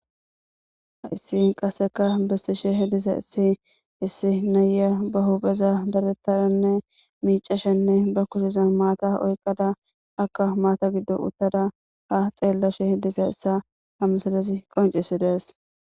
Haysi qaseka besishe dizaysi issi naya ba hupheza daretadanne mic'ashene ba kushezan maata oyqada akka maata giddo uttada ha xelashe ha missilezi qonc'sides.